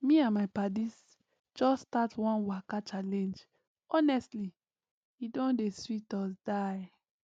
me and my paddies just start one waka challenge honestly e don dey sweet us die